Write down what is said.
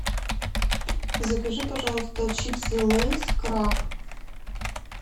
закажи пожалуйста чипсы лейс краб